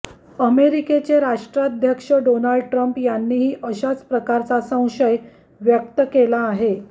अमेरिकेचे राष्ट्राध्यक्ष Donald Trump यांनीही अशाच प्रकारचा संशय व्यक्त केला आहे